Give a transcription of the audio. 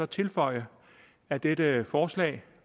tilføje at dette forslag